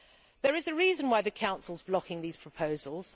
There is a reason why the Council is blocking these proposals.